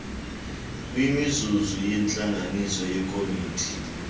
kwimizuzu yentlanganiso yekomiti